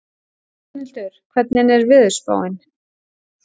Hrafnhildur, hvernig er veðurspáin?